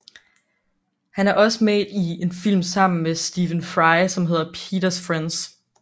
Han er også med i en film sammen med Stephen Fry som hedder Peters Friends